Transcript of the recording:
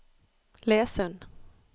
Lesund